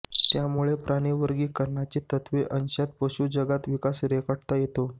त्यामुळे प्राणी वर्गीकरणाची तत्वे अंशतः पशु जगात विकास रेखाटता येतो